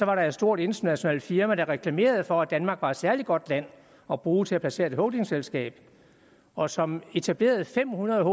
var et stort internationalt firma der reklamerede for at danmark var et særlig godt land at bruge til at placere et holdingselskab i og som etablerede fem hundrede